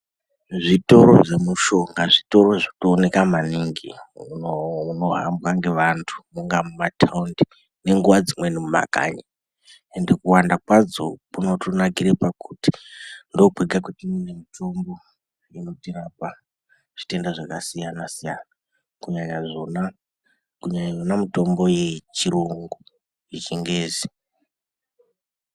Zvitoro zvemushonga zvitoro zvinooneka maningi munoo munohamba ngevantu kunga kumataundi nenguwa dzimweni mumakanyi ende kuwanda kwadzo kunotonakaire pakuti ndokwega kwatinoone mitombo inotirapa zvitenda zvakasiyana siyana kunyanya zvona, kunyanya Yona mitombo iyi yechirungu yechingezi.